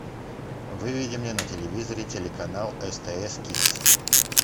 выведи мне на телевизоре телеканал стс кидс